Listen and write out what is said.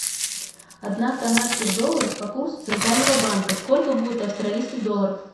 одна канадских долларов по курсу центрального банка сколько будет австралийских долларов